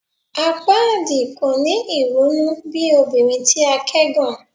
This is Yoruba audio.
Apaadi kò ni irunu bi obinrin ti a kẹgàn